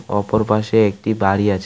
অপর পাশে একটি বাড়ি আছে.